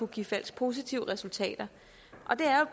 give falsk positive resultater det er